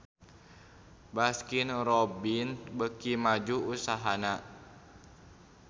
Baskin Robbins beuki maju usahana